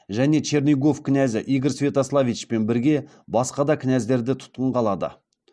және чернигов кінәзі игорь святославичпен бірге басқа да кінәздерді тұтқынға алады